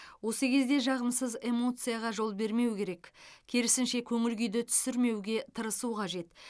осы кезде жағымсыз эмоцияға жол бермеу керек керісінше көңіл күйді түсірмеуге тырысу қажет